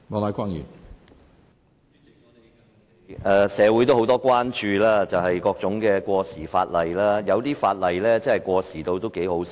主席，社會人士對各種過時法例表示關注，有些法例簡直過時得有點可笑。